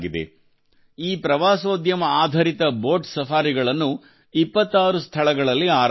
ಈ ಪ್ರವಾಸೋದ್ಯಮಆಧರಿತ ಬೋಟ್ ಸಫಾರಿಗಳನ್ನು 26 ಸ್ಥಳಗಳಲ್ಲಿ ಆರಂಭಿಸಲಾಗಿದೆ